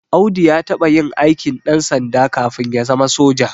Audu ya taɓa yin aikin ɗansanda kafin ya zama soja